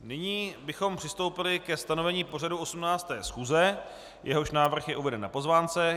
Nyní bychom přistoupili ke stanovení pořadu 18. schůze, jehož návrh je uveden na pozvánce.